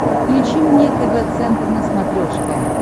включи мне тв центр на смотрешке